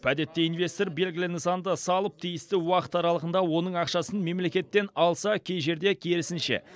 әдетте инвестор белгілі нысанды салып тиісті уақыт аралығында оның ақшасын мемлекеттен алса кей жерде керісінше